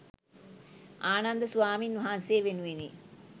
ආනන්ද ස්වාමීන් වහන්සේ වෙනුවෙනි